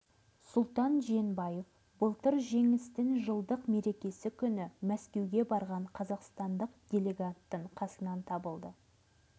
сұлтан жиенбаев былтыр жеңістің жылдық мерекесі күні мәскеуге барған қазақстандық делегаттың қасынан табылды